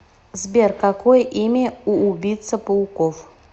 сбер какое имя у убийца пауков